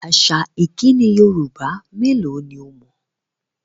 Àṣà ìkíni Yorùbá mélò ni o mọ̀?